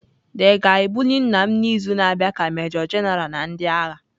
The ga-ebuli nna m n'izu na-abịa ka Major-General na ndị agha.